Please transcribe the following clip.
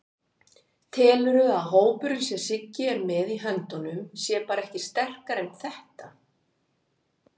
Telurðu að hópurinn sem Siggi er með í höndunum sé bara ekki sterkari en þetta?